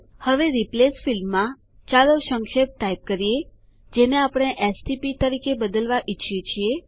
હવે રિપ્લેસ ફીલ્ડમાં ચાલો સંક્ષેપ ટાઈપ કરીએ જેને આપણે એસટીપી તરીકે બદલવા ઈચ્છીએ છીએ